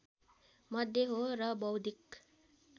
मध्ये हो र बौद्धिक